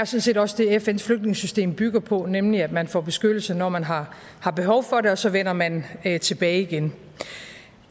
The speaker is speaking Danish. set også det fns flygtningesystem bygger på nemlig at man får beskyttelse når man har har behov for det og så vender man tilbage igen